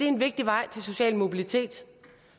en vigtig vej til social mobilitet